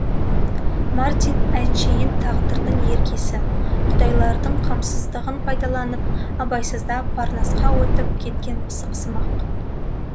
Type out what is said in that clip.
мартин әншейін тағдырдың еркесі құдайлардың қамсыздығын пайдаланып абайсызда парнасқа өтіп кеткен пысықсымақ